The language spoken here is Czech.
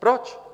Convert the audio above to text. Proč?